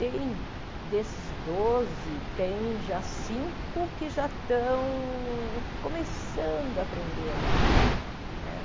Tem, desses doze, tem já cinco que já estão começando a aprender a ler né.